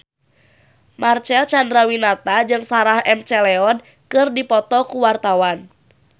Marcel Chandrawinata jeung Sarah McLeod keur dipoto ku wartawan